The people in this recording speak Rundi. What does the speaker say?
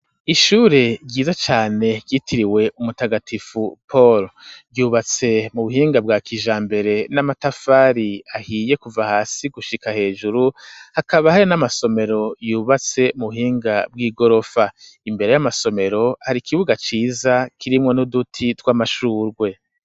Ishure ryiza cane ryitiriwe umutagatifu Paulo ryubatse mu buhinga bwa kijambere n'amatafari ahiye kuva hasi gushika hejuru hakaba hari n'amasomero yubatse mu buhinga bw'igorofa imbere y'amasomero hari ikibuga ciza kirimwo n'uduti tw'amashugwe.